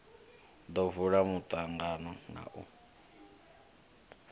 ḓo vula muṱangano na u